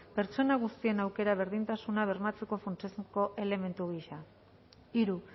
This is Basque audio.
pertsona guztien aukera berdintasuna bermatzeko funtsezko elementu gisa hiru